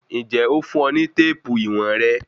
Ǹjẹ́ o fún ọ ní téèpù íwọ̀n rẹ?